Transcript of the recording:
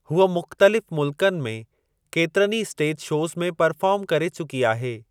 हूअ मुख़्तलिफ़ मुल्कनि में केतिरनि ई स्टेज शोज़ में परफ़ार्म करे चुकी आहे।